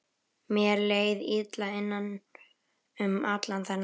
Mér leið illa innan um allan þennan bjór.